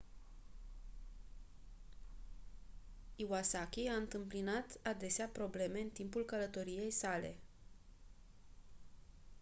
iwasaki a întâmpinat adesea probleme în timpul călătoriei sale